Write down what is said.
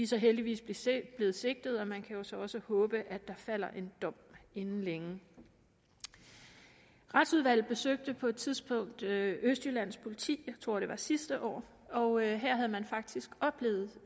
så heldigvis blevet sigtet og man kan jo så også håbe at der falder en dom inden længe retsudvalget besøgte på et tidspunkt østjyllands politi jeg tror det var sidste år og her havde man faktisk oplevet